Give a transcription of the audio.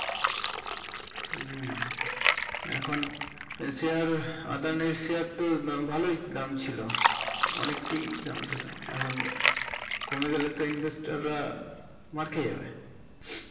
উম এখন share Adani share তো ভালোই দাম ছিল এখন অনেকটাই দাম ছিল এখন কমে গেলে তো investor রা মার খেয়ে যাবে